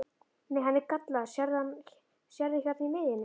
Nei, hann er gallaður, sérðu hérna í miðjunni.